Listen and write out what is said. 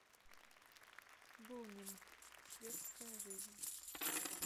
бунин светская жизнь